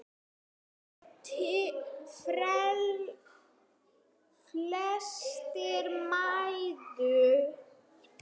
Flestar mæður.